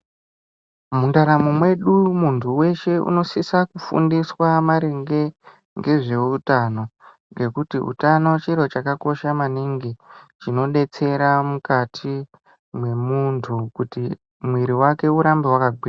Mundaramo mwedu, munthu weshe unosisa kufundiswa maringe ne zveutano. Ngekuti utano chiro chakakosha maningi, chinodetsera mukati mwemunthu, kuti mwiri wake urambe wakagwinya.